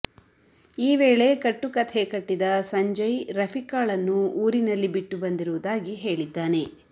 ಈ ವೇಳೆ ಕಟ್ಟು ಕಥೆ ಕಟ್ಟಿದ ಸಂಜಯ್ ರಫಿಕಾಳನ್ನು ಊರಿನಲ್ಲಿ ಬಿಟ್ಟು ಬಂದಿರುವುದಾಗಿ ಹೇಳಿದ್ದಾನೆ